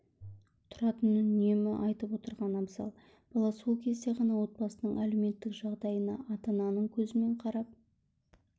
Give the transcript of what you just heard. тұратынын үнемі айтып отырған абзал бала сол кезде ғана отбасының әлеуметтік жағдайына ата-ананың көзімен қарап